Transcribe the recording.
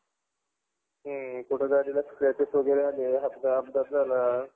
हुं गाडीला कुठे scratches वगैरे आले कुठे अपघात वगैरे झाला